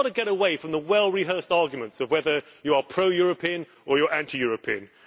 We have got to get away from the well rehearsed arguments of whether you are pro European or you are anti European.